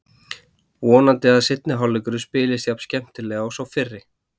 Vonandi að seinni hálfleikurinn spilist jafn skemmtilega og sá fyrri.